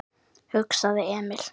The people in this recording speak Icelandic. hugsaði Emil.